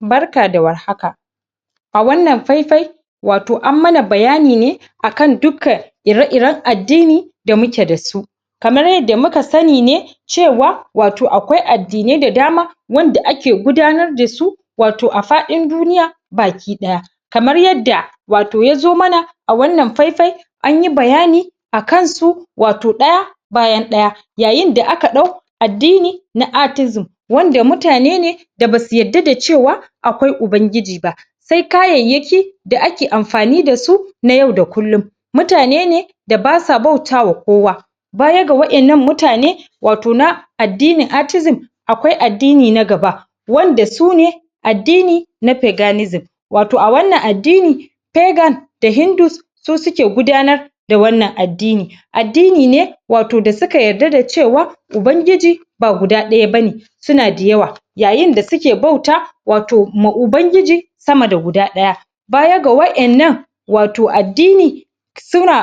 barka da warhaka a wannan fai fai wato an mana bayani ne akan dukan ire iren addini da muke da su kamar yadda muka sani ne cewa wato akwai addinai da dama wanda ake gudanar dasu wato a fadin duniya baki daya kamar yadda yazo mana wato a wannan fai fai anyi bayani akansu wato daya bayan daya yayin da aka dau addini na atizim wato wanda mutane ne da basu yadda da cewa akwai ubangiji ba sai kayayyaki da ake amfani dasu na yau da kullin mutane ne da basa bauta wa kowa bayaga wadannan mutane wato na addini atizimakwai addini na gaba wanda sune addini na peganism wato a wannan addini pegan da hindus su suke gudanar da wannan addini addini ne wato da suka yarda da cewa ubangiji ba guda daya bane suna da yawa yayin da suke bautawa wato ma ubangiji sama da guda daya bayaga wadannan wato addini